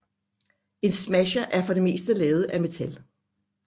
En smasher er for det meste lavet af metal